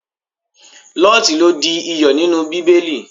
Lọ́ọtí lo di iyọ̀ nínú Bíbélì.